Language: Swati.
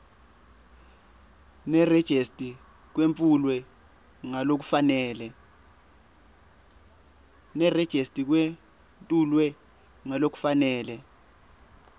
nerejista kwetfulwe ngalokufanele